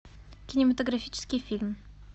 кинематографический фильм